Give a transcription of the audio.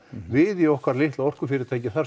við í okkar litla orkufyrirtæki þar